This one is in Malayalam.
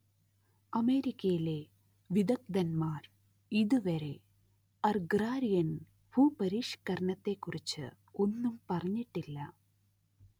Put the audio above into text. അമേരിക്കയിലെ വിദഗ്ദ്ധന്മാർ ഇതുവരെ അർഗ്രാരിയൻ ഭൂപരിഷ്കരണത്തെക്കുറിച്ച് ഒന്നും പറഞ്ഞിട്ടില്ല